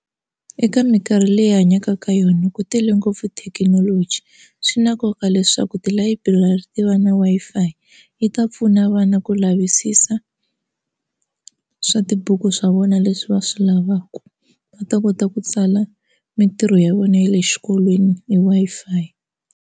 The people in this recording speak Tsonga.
Eka minkarhi leyi hi hanyaka ka yona ku tele ngopfu thekinoloji swi na nkoka leswaku tilayiburari ti va na Wi-Fi yi ta pfuna vana ku lavisisa swa tibuku swa vona leswi va swi lavaka va ta kota ku tsala mitirho ya vona ya le xikolweni hi Wi-Fi.